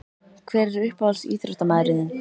Hver er uppáhalds íþróttamaður þinn?